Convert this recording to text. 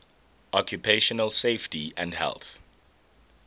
occupational safety and health